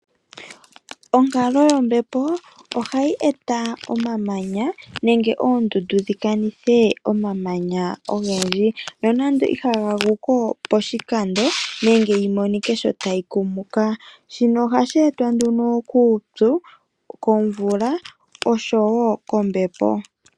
Onkalo yombepo ohayi eta omamanya nenge oondundu dhikanithe omamanya ogendji . Nonando ihaga guko poshikando nenge yi monike sho tayi kumuka . Shono ohashi etwa nduno kuupyu , komvula oshowo kombepo .